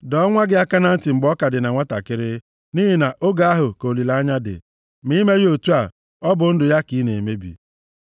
Dọọ nwa gị aka na ntị mgbe ọ ka dị na nwantakịrị nʼihi na oge ahụ ka olileanya dị. Ma i meghị otu a, ọ bụ ndụ ya ka ị na-emebi.